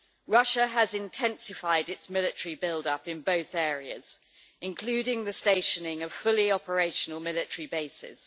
Russia has intensified its military build up in both areas including the stationing of fully operational military bases.